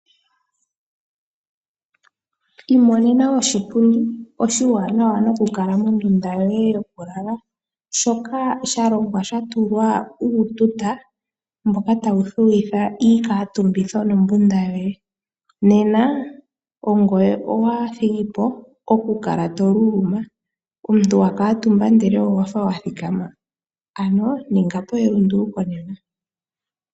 Imonena oshipundi oshiwanawa nokukala mondunda yoye yokulala, shoka sha longwa sha tulwa iituta mbyoka tayi thuwitha iikaatumbitho nombunda yoye. Nena ongoye owa thigi po okukala to luluma. Omuntu wa kuutumba ndele owa fa wa thikama? Ninga po elunduluko nena.